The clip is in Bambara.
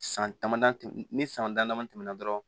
San damadɔ tɛmɛn ni san dama damani tɛmɛna dɔrɔn